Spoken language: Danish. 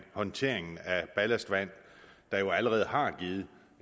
håndteringen af ballastvand der jo allerede har givet